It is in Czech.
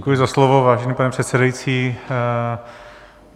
Děkuji za slovo, vážený pane předsedající.